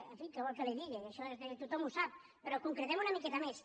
en fi què vol que li digui això tothom ho sap però concretem una miqueta més